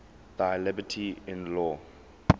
thy liberty in law